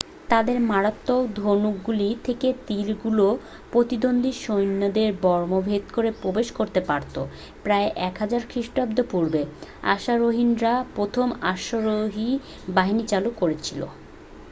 তাদের মারাত্মক ধনুকগুলি থেকে তীরগুলো প্রতিদ্বন্দ্বী সৈন্যদের বর্ম ভেদ করে প্রবেশ করতে পারতো প্রায় 1000 খ্রিস্টপূর্বে আশেরিয়ানরা প্রথম অশ্বারোহী বাহিনী চালু করেছিল